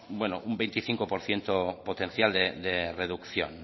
un veinticinco por ciento potencial de reducción